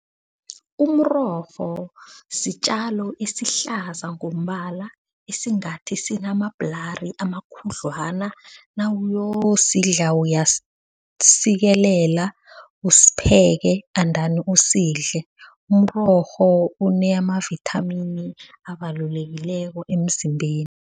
Umrorho sitjalo esihlaza ngombala esingathi sinamabhulari amakhudlwana nawuyosidla uyasisikelela usipheke endani usidle. Umrorho unamavithamini abalulekileko emzimbeni.